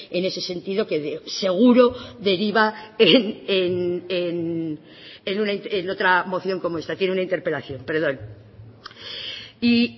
en ese sentido que seguro deriva en otra moción como esta tiene una interpelación perdón y